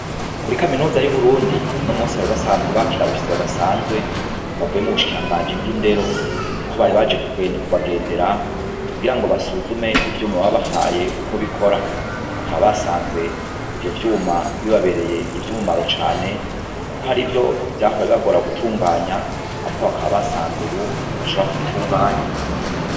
Kuri kaminuza y'uburundi uno musi bari basanzwe bakire abashitsi badasanzwe bavuye mubushikirangaji bw'indero aho bari baje kubagendera kugira ngo basuzume ivyuma babahaye uko bikora bakaba basanze ivyo vyuma bibabereye ivy'umumaro cane kuko hari ivyo vyahora bibagora gutunganya ariko bakaba basanze ubu bashobora kubitunganya.